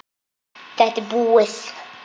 Þetta er búið.